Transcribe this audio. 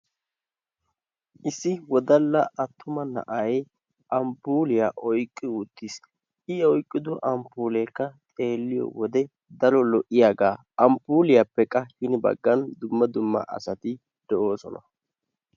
Issi wodalla attuma na'ay amppuulliya oyqqi uttiis. I oyqqido amppuulleekka xeelliyode keehippe lo'iyagaa. Amppuulliyappekka ya baggan cora asati de'oosona.